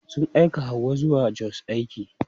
Sun aika Hauwa zuwa Jos aiki.